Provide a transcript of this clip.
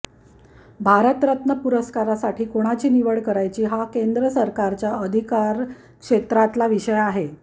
भारतरत्न पुरस्कारासाठी कोणाची निवड करायची हा केंद्र सरकारच्या अधिकार क्षेत्रातला विषय आहे